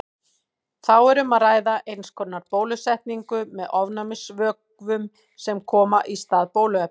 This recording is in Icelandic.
Þá er um að ræða eins konar bólusetningu með ofnæmisvökum sem koma í stað bóluefnis.